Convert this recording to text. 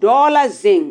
Dɔɔ la zeŋ